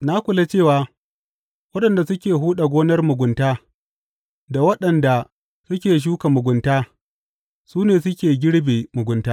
Na kula cewa waɗanda suke huɗa gonar mugunta, da waɗanda suke shuka mugunta, su ne suke girbe mugunta.